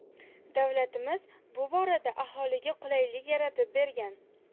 Davlatimiz bu borada aholiga qulaylik yaratib bergan.